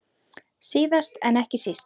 Síðast en ekki síst.